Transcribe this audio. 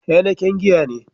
Heineken giya ne.